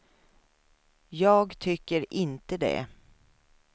Jag tycker inte det.